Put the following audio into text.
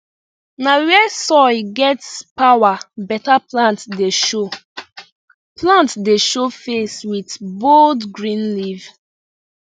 na where soil get power beta plant dey show plant dey show face with bold green leaf